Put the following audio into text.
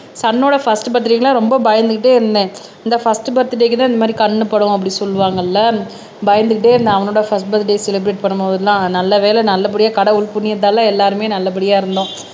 Sun ஓட first பர்த்டேக்கு எல்லாம் ரொம்ப பயந்துகிட்டே இருந்தேன் இந்த ஃபர்ஸ்ட் பர்த்டேக்கு தான் இந்த மாதிரி கண்ணுபடும் அப்படி சொல்லுவாங்கல்ல பயந்துகிட்டே இருந்தேன் அவனோட ஃபர்ஸ்ட் பர்த்டே செலிப்ரட் பண்ணும் போதெல்லாம் நல்லவேளை நல்லபடியா கடவுள் புண்ணியத்தால எல்லாருமே நல்லபடியா இருந்தோம்